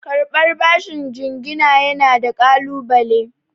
Karɓar bashin jingina yana da ƙalunale.